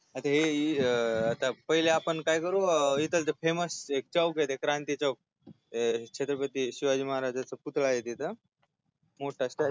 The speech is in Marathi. आता अं पहिले आपण काय करू इथालचा famous एक चौकय क्रांती चौक अं छत्रपती शिवाजी महाराजांचा पुतळाय तिथ